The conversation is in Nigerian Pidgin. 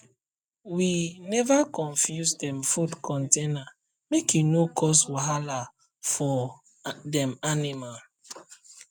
we never um confuse dem food container make e no um cause wahala for cause wahala for um dem animal